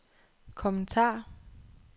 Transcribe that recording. kommentar